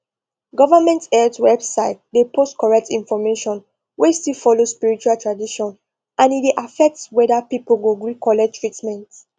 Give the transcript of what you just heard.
government health website dey post correct information wey still follow spiritual tradition and e dey affect whether people go gree collect treatment